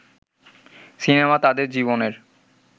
cinema তাদের জীবনের